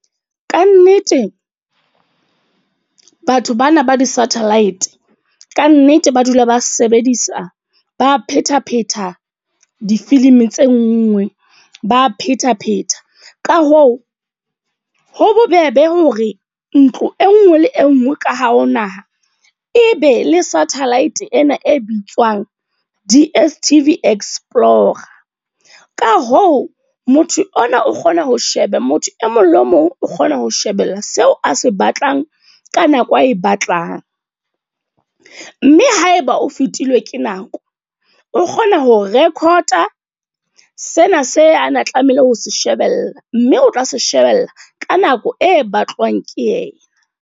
Ka nnete batho bana ba di satellite. Ka nnete ba dula ba sebedisa, ba phetapheta difilimi tse nngwe, ba phetapheta. Ka hoo, ho bobebe hore ntlo e nngwe le e nngwe ka hare ho naha, e be le satellite ena e bitswang D_S_T_V explorer. Ka hoo, motho ona o kgona ho sheba motho e mong le mong o kgona ho shebella seo a se batlang ka nako a e batlang. Mme haeba o fetilwe ke nako, o kgona hore record-a sena se ana tlamehile ho se shebella. Mme o tla se shebella ka nako e batlwang ke yena.